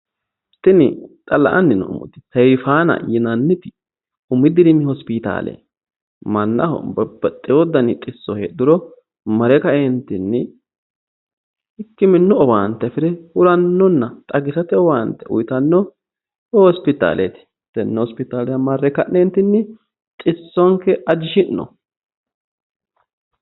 Tini la'anni noommoti seeffanna umi dirimi hosipitaale mannaho babbaxxeewo dani xisso heedhuro mare kaeentinni hikkiminnu owaante afi're huranninna xagisate owaante uytanno hosipitaaleeti tenne hosipitaalera marre xissonke ajishshi'no.